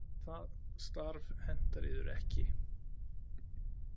Það starf hentar yður ekki.